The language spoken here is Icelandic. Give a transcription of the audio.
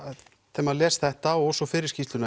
þegar maður les þetta og svo fyrri skýrsluna